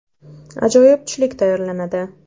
Ajoyib tushlik tayyorlanadi.